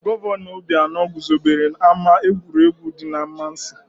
Gọvanọ Obianọ guzobere ama egwuregwu dị n'Amansiị.